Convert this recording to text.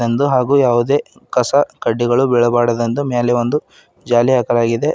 ಒಂದು ಹಾಗೂ ಯಾವುದೇ ಕಸ ಕಡ್ಡಿಗಳು ಬೀಳಬ್ಯಾಡದೆಂದು ಮೇಲೆ ಒಂದು ಜಾಲಿ ಹಾಕಲಾಗಿದೆ.